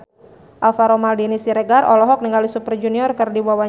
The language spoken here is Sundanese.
Alvaro Maldini Siregar olohok ningali Super Junior keur diwawancara